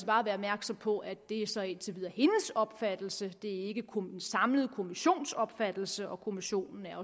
bare være opmærksom på at det så indtil videre er hendes opfattelse det er ikke den samlede kommissions opfattelse og kommissionen er